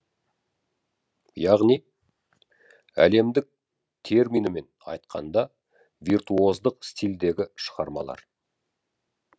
яғни әлемдік терминімен айтқанда виртуоздық стильдегі шығармалар